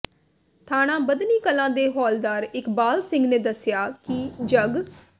ਥਾਣਾ ਬੱਧਨੀ ਕਲਾਂ ਦੇ ਹੌਲਦਾਰ ਇਕਬਾਲ ਸਿੰਘ ਨੇ ਦਸਿਆ ਕਿ ਜਗ